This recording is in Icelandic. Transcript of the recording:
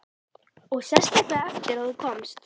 Og sérstaklega eftir að þú komst.